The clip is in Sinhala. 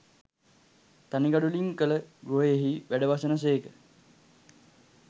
තනි ගඩොලින් කළ ගෘහයෙහි වැඩවසන සේක